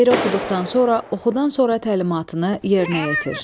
Şeiri oxuduqdan sonra oxudan sonra təlimatını yerinə yetir.